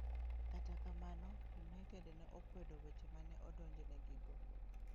Kata kamano, United ne okwedo weche ma ne odonjnegigo.